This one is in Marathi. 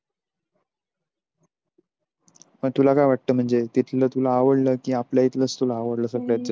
पण तुला काय वाटत म्हणजे तिथल तुला आवडल कि आपल्या इथलच आवडल सगळंच.